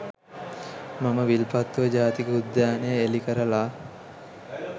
මම විල්පත්තුව ජාතික උද්‍යානය එළි කරලා